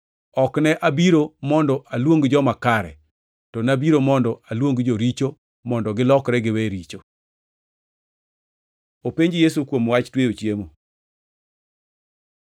Ok ne abiro mondo aluong joma kare, to nabiro mondo aluong joricho mondo gilokre giwe richo.” Openj Yesu kuom wach tweyo chiemo